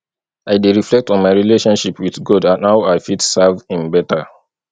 i dey reflect on my relationship with god and how i fit serve him beta